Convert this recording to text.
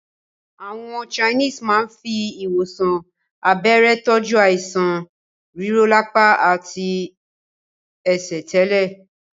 Àwọn Chinese máa ń fi ìwòsàn abẹ́rẹ́ tọju àìsàn rírọlapa àti ẹsẹ̀ tẹ́lẹ̀